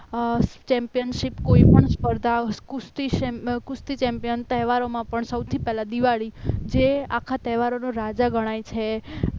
અમ ચેમ્પિયનશિપ કોઈપણ સ્પર્ધા કુસ્તી ચેમ્પિયન તહેવારોમાં પણ સૌથી પહેલા દિવાળી જે આખા તહેવારોનો રાજા ગણાય છે